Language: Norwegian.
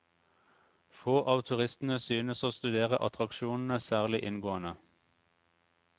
Få av turistene synes å studere attraksjonene særlig inngående.